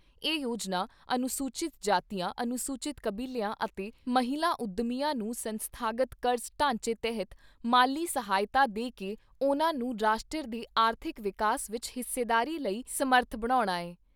ਇਹ ਯੋਜਨਾ ਅਨੁਸੂਚਿਤ ਜਾਤੀਆਂ ਅਨੁਸੂਚਿਤ ਕਬੀਲਿਆਂ ਅਤੇ ਮਹਿਲਾ ਉਦਮੀਆਂ ਨੂੰ ਸੰਸਥਾਗਤ ਕਰਜ਼ ਢਾਂਚੇ ਤਹਿਤ ਮਾਲੀ ਸਹਾਇਤਾ ਦੇ ਕੇ ਉਨ੍ਹਾਂ ਨੂੰ ਰਾਸ਼ਟਰ ਦੇ ਆਰਥਿਕ ਵਿਕਾਸ ਵਿਚ ਹਿੱਸੇਦਾਰੀ ਲਈ ਸਮਰੱਥ ਬਣਾਉਣਾ ਐ।